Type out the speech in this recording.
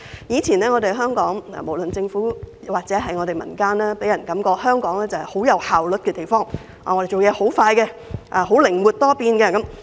以前的香港，不論是政府或民間都予人極具效率的感覺，不但辦事快，而且靈活多變。